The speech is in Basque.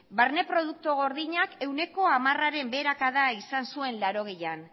barne produktu gordinak ehuneko hamarera beherakada izan zuen mila bederatziehun eta laurogeian